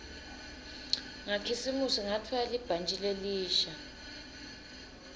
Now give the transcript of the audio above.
ngakhisimusi ngatfola libhantji lelisha